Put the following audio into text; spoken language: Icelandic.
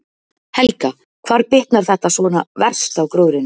Helga: Hvar bitnar þetta svona verst á gróðrinum?